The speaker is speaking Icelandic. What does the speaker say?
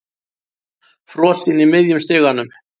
Frosinn í miðjum stiganum.